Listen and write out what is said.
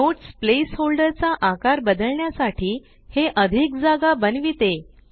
notes placeholder चा आकार बदलण्यासाठी हे अधिक जागा बनविते